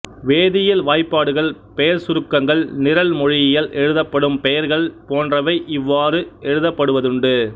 வேதியியல் வாய்ப்பாடுகள் பெயர் சுருக்கங்கள் நிரல் மொழியில் எழுதப்படும் பெயர்கள் போன்றவை இவ்வாறு எழுதப்படுவதுண்டு